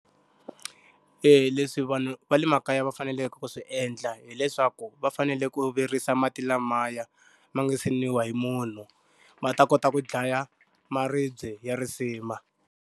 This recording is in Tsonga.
leswi vanhu va le makaya va faneleke ku swi endla hileswaku va fanele ku virisa mati lamaya, ma nga se nwiwa hi munhu, ma ta kota ku dlaya maribye ya risima.